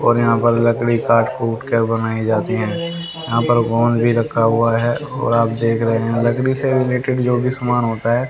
और यहां पर लकड़ी काट कूट के बनाई जाती हैं यहां पर गोंद भी रखा हुआ है और आप देख रहे हैं लकड़ी से रिलेटेड जो भी सामान होता है।